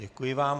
Děkuji vám.